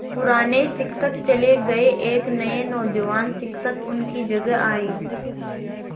पुराने शिक्षक चले गये एक नये नौजवान शिक्षक उनकी जगह आये